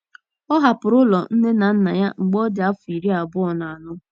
Ọ hapụrụ ụlọ nne na nna ya mgbe ọ dị afọ iri abụọ na anọ.